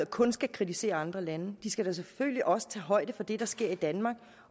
kun skal kritisere andre lande de skal da selvfølgelig også tage højde for det der sker i danmark